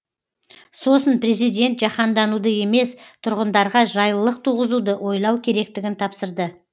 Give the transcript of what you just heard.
сосын президент жаһандануды емес тұрғындарға жайлылық туғызуды ойлау керектігін тапсырды